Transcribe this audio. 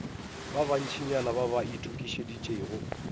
ba bantšinyana ba ba itokišeditšego